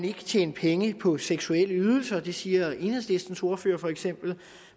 ikke tjenes penge på seksuelle ydelser det siger enhedslistens ordfører for eksempel